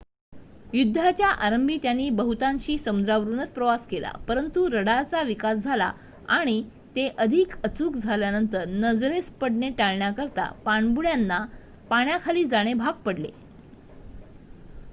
युद्धाच्या आरंभी त्यांनी बहुतांशी समुद्रावरुनच प्रवास केला परंतु रडारचा विकास झाला आणि ते अधिक अचूक झाल्यानंतर नजरेस पडणे टाळण्याकरिता पाणबुड्यांना पाण्याखाली जाणे भाग पडले